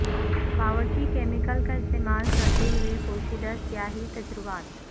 باورچی کیمیکل کا استعمال کرتے ہوئے پوشیدہ سیاہی تجربات